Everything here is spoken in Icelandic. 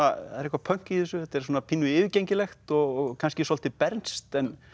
það er eitthvað pönk í þessu þetta er pínu yfirgengilegt og kannski svolítið bernskt